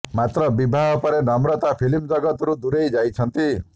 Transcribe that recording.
ମାତ୍ର ବିବାହ ପରେ ନମ୍ରତା ଫିଲ୍କ ଜଗତରୁ ଦୂରେଇ ଯାଇଛନ୍ତି